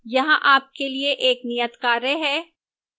यहां आपके लिए एक नियतकार्य है: